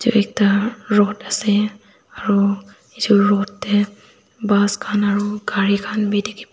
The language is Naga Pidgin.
ekta road ase aru eju road bus khan aru gari khan bhi dekhi pai--